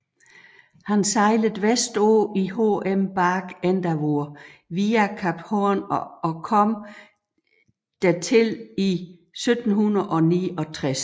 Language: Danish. Han sejlede vestpå i HM Bark Endeavour via Kap Horn og ankom dertil i 1769